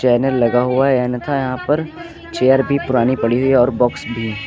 Banner लगा हुआ है अन्यथा यहां पर चेयर भी पुरानी पड़ी हुई है और बॉक्स भी।